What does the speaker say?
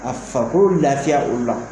A fako lafiya o la